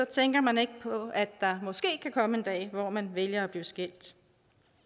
tænker man ikke på at der måske kan komme en dag hvor man vælger at blive skilt